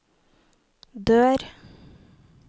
dør